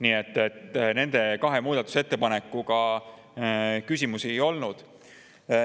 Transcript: Nii et nende kahe muudatusettepanekuga küsimusi ei olnud.